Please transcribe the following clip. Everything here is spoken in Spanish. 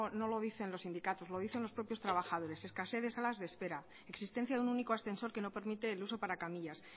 no lo dicen los sindicatos lo dicen los propios trabajadores escasez de sala de espera existencia de un único ascensor que no permite el uso para camillas